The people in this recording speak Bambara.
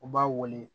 U b'a wele